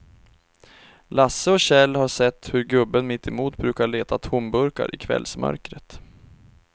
Lasse och Kjell har sett hur gubben mittemot brukar leta tomburkar i kvällsmörkret.